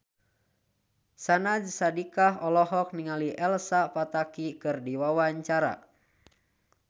Syahnaz Sadiqah olohok ningali Elsa Pataky keur diwawancara